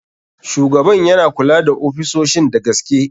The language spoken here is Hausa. Shugaban yana kula da ofisoshin da gaske.